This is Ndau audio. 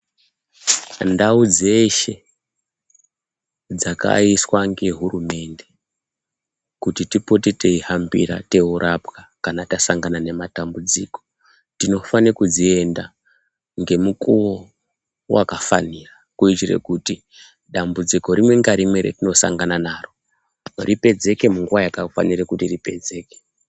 Ndau dzeshe dzakaiswa ngehurumende kuti tipote teihambira teiorapwa kana tasangana nematambudziko tinofane kudzienda ngemukuwo wakafanira kuitire kuti dambudziko rimwe ngarimwe ratinosangana naro ripedzeke munguwa yakafanira kuti ripedzeke.